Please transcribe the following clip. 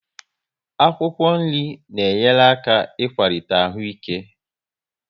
Akwụkwọ nri na enyere aka akwalite ahụ ike